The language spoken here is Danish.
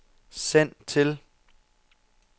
send til